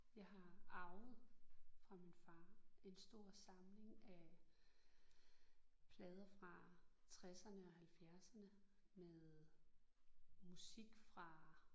Jeg har arvet fra min far en stor samling af plader fra tresserne og halvfjerdserne med musik fra